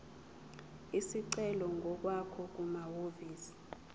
isicelo ngokwakho kumahhovisi